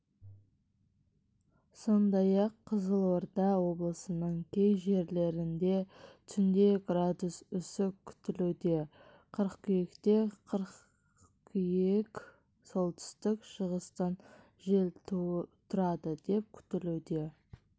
сондай-ақ қызылорда облысының кей жерлерінде түнде градус үсік күтілуде қыркүйекте қыркүйек солтүстік-шығыстан жел тұрады деп күтілуде